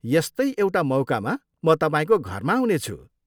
यस्तै एउटा मौकामा म तपाईँको घरमा आउनेछु।